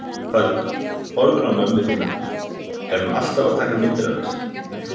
Hödd: Horfir á mömmu þína, er hún alltaf að taka myndir af þér?